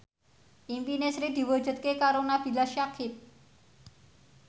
impine Sri diwujudke karo Nabila Syakieb